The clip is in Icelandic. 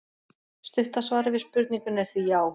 Stutta svarið við spurningunni er því já!